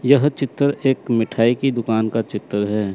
यह चित्र एक मिठाई के दुकान का चित्र है।